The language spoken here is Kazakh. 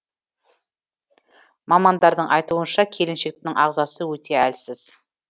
мамандардың айтуынша келіншектің ағзасы өте әлсіз